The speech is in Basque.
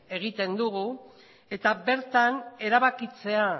egiten dugu eta bertan erabakitzea